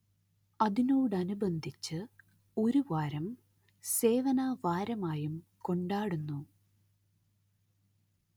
അതിനോടനിബന്ധിച്ച് ഒരു വാരം സേവനവാരമായും കൊണ്ടാടുന്നു